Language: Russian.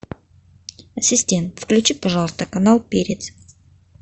ассистент включи пожалуйста канал перец